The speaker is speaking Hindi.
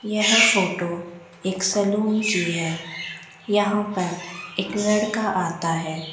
यह फोटो एक सैलून है यहां पर एक लड़का आता है।